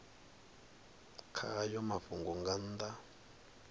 kha hayo mafhungo nga nnḓa